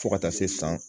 Fo ka taa se san